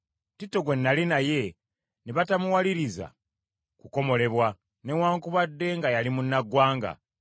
Tito gwe nnali naye ne batamuwaliriza kukomolebwa, newaakubadde nga yali munnaggwanga.